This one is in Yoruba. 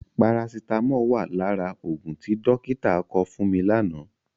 Parasitámọ̀ wà lára òògùn tí dọ́kítà kọ fún mi lánàá.